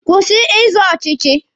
Kwụsị ịzọ ọchịchị!